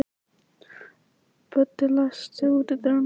Böddi, læstu útidyrunum.